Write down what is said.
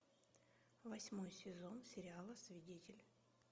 восьмой сезон сериала свидетель